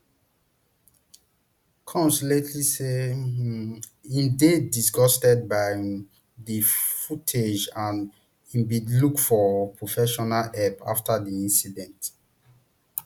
combs latersay um im dey disgustedby um di footage and im bin look for professional help afta di incident